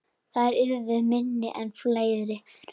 Þær yrðu minni en fleiri.